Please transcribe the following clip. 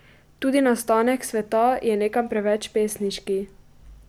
Tudi nastanek sveta je nekam preveč pesniški.